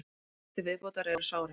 Þrír til viðbótar eru sárir